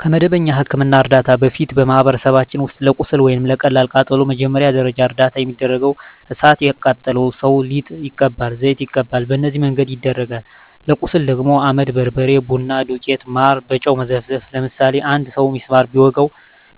ከመደበኛ የሕክምና ዕርዳታ በፊት፣ በማኅበረሰባችን ውስጥ ለቁስል ወይም ለቀላል ቃጠሎ መጀመሪያ ደረጃ እርዳታ የሚደረገው እሣት የቃጠለው ሠው ሊጥ ይቀባል፤ ዘይት ይቀባል፤ በነዚህ መንገድ ይደረጋል። ለቁስል ደግሞ አመድ፤ በርበሬ፤ ቡና ዱቄት፤ ማር፤ በጨው መዘፍዘፍ፤ ለምሳሌ አንድ ሠው ቢስማር ቢወጋው